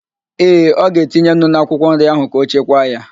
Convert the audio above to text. Ee, ọ ga-etinye nnu n'akwụkwọ nri ahụ ka ọ chekwaa ya